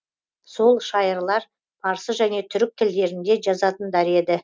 сол шайырлар парсы және түрік тілдерінде жазатындар еді